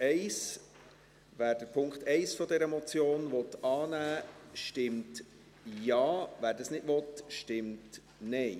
Wer den Punkt 1 dieser Motion annehmen will, stimmt Ja, wer das nicht will, stimmt Nein.